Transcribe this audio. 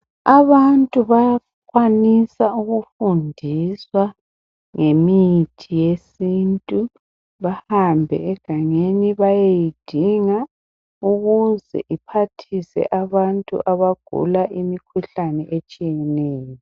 Abantu bayakwanisa ukufundiswa ngemithi yesintu bahambe egangeni bayeyidinga ukuze iphathise abantu abagula imikhuhlane etshiyeneyo.